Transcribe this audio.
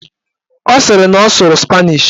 Ọ sịrị na ọ sụrụ spanish